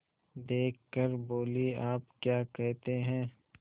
देख कर बोलीआप क्या कहते हैं